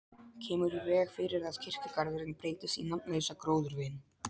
Kemur í veg fyrir að kirkjugarðurinn breytist í nafnlausa gróðurvin.